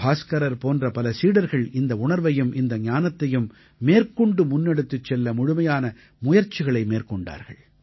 பாஸ்கரர் போன்ற பல சீடர்கள் இந்த உணர்வையும் இந்த ஞானத்தையும் மேற்கொண்டு முன்னெடுத்துச் செல்ல முழுமையான முயற்சிகளை மேற்கொண்டார்கள்